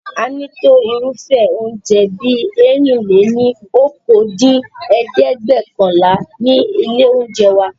A ní tó irúfẹ́ oúnjẹ bí ẹ̀rin-lé-ní-okòó dín ní ẹ̀ẹ́dẹ́gbẹ́ọ̀kànlá ní ilé oúnjẹ wa